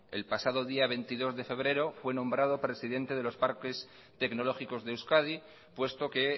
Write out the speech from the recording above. el pasado día veintidós de febrero fue nombrado presidente de los parques tecnológicos de euskadi puesto que